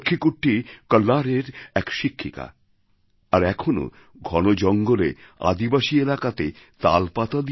লক্ষ্মী কুট্টী কল্লারের এক শিক্ষিকা আর এখনও ঘন জঙ্গলে আদিবাসী এলাকাতে তালপাতা